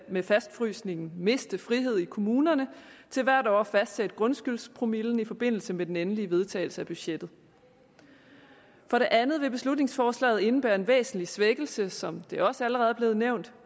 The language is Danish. med fastfrysningen miste frihed i kommunerne til hvert år at fastsætte grundskyldspromillen i forbindelse med den endelige vedtagelse af budgettet for det andet vil beslutningsforslaget indebære en væsentlig svækkelse som det også allerede er blevet nævnt